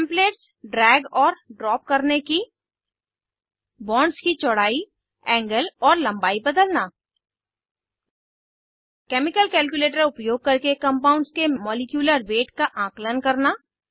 templates drag और drop करने की बॉन्ड्स की चौड़ाई एंगल और लम्बाई बदलना केमिकल कैल्क्युलेटर उपयोग करके कंपाउंड्स के मॉलीक्यूलर वेट का आंकलन करना